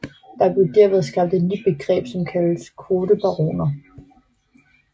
Der blev derved skabt et nyt begreb som kaldes kvotebaroner